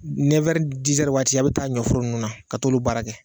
waati a bɛ taa ɲɔforo ninnu na ka t'olu baara kɛ